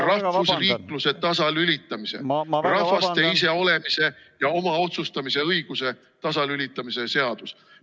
... rahvusriikluse tasalülitamise, rahvaste iseolemise ja oma otsustamise õiguse tasalülitamise seadus.